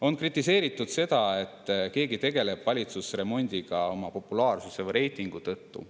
On kritiseeritud seda, et keegi tegeleb valitsusremondiga oma populaarsuse või reitingu tõttu.